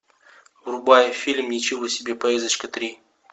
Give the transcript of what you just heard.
врубай фильм ничего себе поездочка три